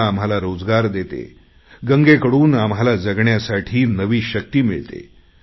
गंगा आम्हाला रोजगार देते गंगेकडून आम्हाला जगण्यासाठी नवी शक्ती मिळते